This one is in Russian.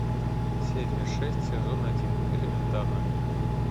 серия шесть сезон один элементарно